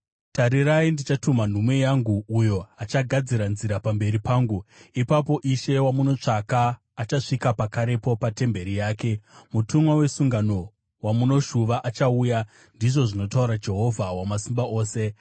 “Tarirai, ndichatuma nhume yangu, uyo achagadzira nzira pamberi pangu. Ipapo Ishe wamunotsvaka, achasvika pakarepo patemberi yake; mutumwa wesungano, wamunoshuva, achauya,” ndizvo zvinotaura Jehovha Wamasimba Ose.